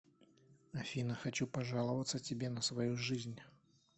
афина хочу пожаловаться тебе на свою жизнь